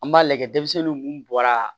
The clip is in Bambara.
An b'a lajɛ denmisɛnninw mun bɔra